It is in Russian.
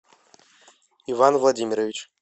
иван владимирович